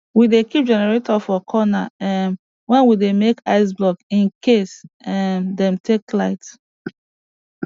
we dey keep generator for corner um wen we dey make ice block in case um dem take light